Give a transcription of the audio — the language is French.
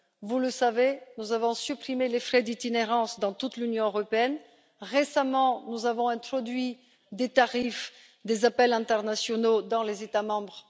Vous le savez, nous avons supprimé les frais d'itinérance dans toute l'Union européenne. Récemment, nous avons introduit des tarifs réduits pour les appels internationaux dans les États membres.